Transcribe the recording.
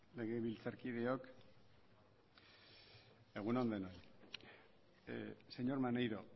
legebiltzarkideok egun on denoi señor maneiro